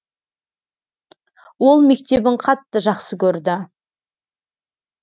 ол мектебін қатты жақсы көрді